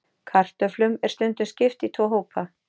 Kartöflum er stundum skipt í tvo hópa.